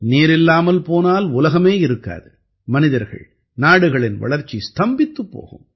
நீரில்லாமல் போனால் உலகமே இருக்காது மனிதர்கள் நாடுகளின் வளர்ச்சி ஸ்தம்பித்துப் போகும்